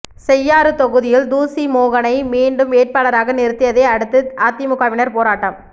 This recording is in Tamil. செய்யாறு தொகுதியில் தூசி மோகனை மீண்டும் வேட்பாளராக நிறுத்தியதை அடுத்து அதிமுகவினர் போராட்டம்